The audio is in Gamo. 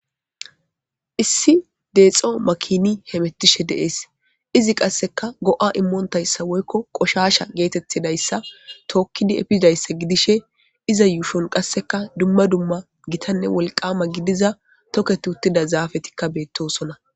Issi deexo makini hemettishe deees izi qasseka go'a immoontayssa woykko qoshasha geetettidayssa tookkidi epizdayssa gidishe iza yuushon qasseka dumma dumma gitanne wolqama gidiza toketi uttida zaafetikka beettosonna.